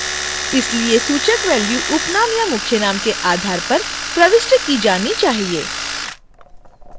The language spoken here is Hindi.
इसलिए सूचक value उपनाम या मुख्यनाम के आधार पर प्रविष्ट की जाना चाहिए